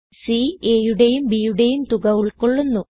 C aയുടെയും bയുടെയും തുക ഉൾകൊള്ളുന്നു